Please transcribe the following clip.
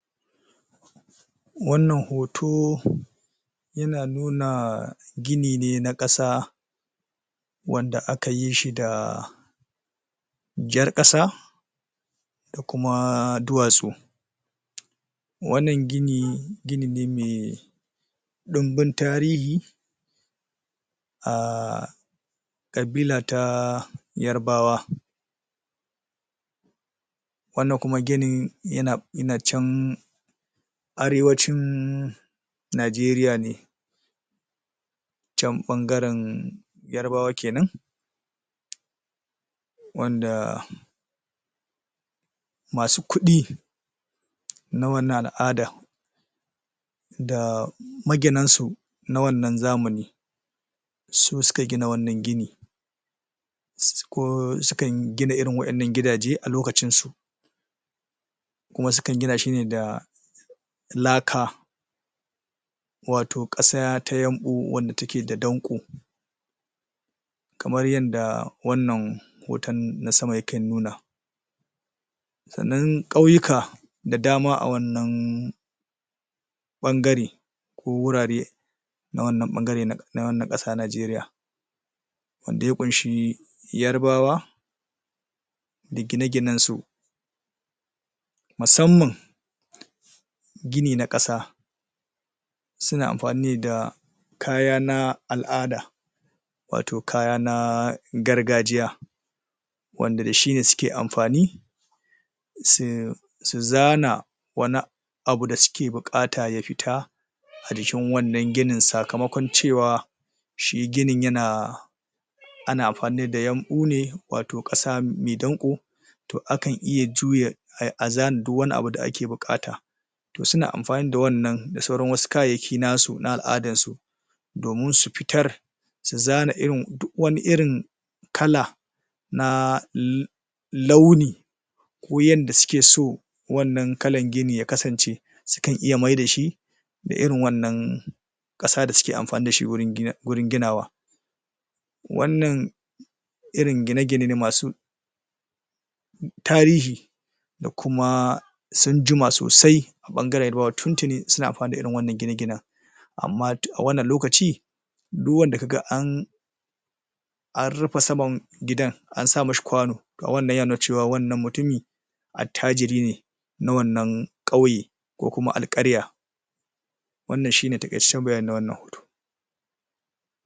Wannan hoto yana nuna gini ne na ƙasa wanda a ka yi shi da jar ƙasa da kuma duwatsu. wannan gini gini ne mai ɗumbun tarihi a ƙabila ta Yarbawa wannan kuma ginin yana Yana can Arewacin Najeriya ne can ɓangaren Yarbawa kenan wanda masu kuɗi na wannan al'ada da maginan su na wannan zamani su suka gina wannan gini um ko su kan gina irin waɗannan gidaje a lokacin su kuma su kan gina shi ne da laka wato ƙasa ta yamɓu wadda ta ke da danƙo kamar yadda wannan hoton na sama yake nunawa sannan ƙauyuka da dama a wannan ɓangare ko wurare na wannan ɓangare na na wannan ƙasa Najeriya wanda ya ƙunshi Yarbawa da gine ginen su musamman gini na ƙasa suna amfani ne da kaya na al'ada wato kaya na gargajiya wanda da shi ne suke amfani su su zana wani a abu da suke buƙata ya fita a jikin wannan ginin sakamakon cewa shi ginin yana ana amfani da yamɓu ne wato ƙasa mai danƙo to a kan iya juya ai azan duk wani abu da ake buƙata to suna amfani da wannan da sauran wasu kayayyaki nasu na al'adan su domin su fitar su zana irin duk wani irin kala na? launi ko yanda su ke so wannan kalan gini ya kasance su kan iya mai da shi da irin wannan ƙasa da suke amfani dashi wurin um ginawa wannan irin gine gine ne masu tarihi da kuma sun jima sosai a ɓangaren Yarbawa tun tuni suna amfani da irin wannan gine ginen amma a wannan lokaci duk wanda ka ga an an rufa saman gidan an sa mashi kwano to wannan yana nuna cewa wannan mutumi attajiri ne na wannan ƙauye ko kuma alƙarya wannan shine taƙaitaccen bayani na wannan hoto